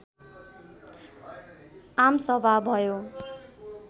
आमसभा भयो